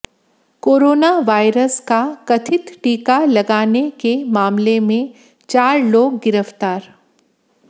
corona virus का कथित टीका लगाने के मामले में चार लोग गिरफ्तार